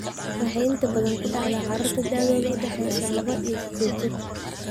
Waxay inta badan ku dhacdaa carruurta da'doodu u dhaxayso laba iyo sided jir.